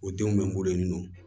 O denw bɛ n bolo yen nɔ